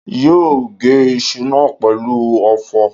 yóó gé iṣu náà pẹ̀lú ọ̀fọ̀?